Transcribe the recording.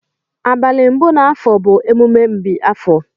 Abali mbu na afọọ bu emume mbi afọọ.